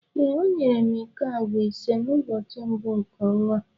ee, ọ nyere m iko agwa ise n’ụbọchị mbụ nke ọnwa a